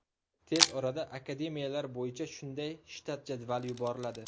Tez orada akademiyalar bo‘yicha shunday shtat jadvali yuboriladi.